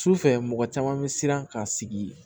Sufɛ mɔgɔ caman bɛ siran ka sigi